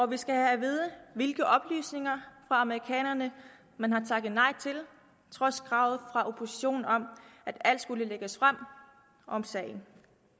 vi skal have at vide hvilke oplysninger fra amerikanerne man har takket nej til trods kravet fra oppositionen om at alt skulle lægges frem om sagen